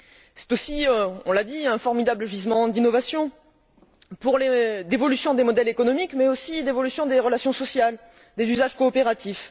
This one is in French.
C'est aussi, on l'a dit, un formidable gisement d'innovation, d'évolution des modèles économiques, mais aussi d'évolution des relations sociales, des usages coopératifs.